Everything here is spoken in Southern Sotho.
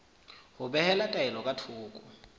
ho behela taelo ka thoko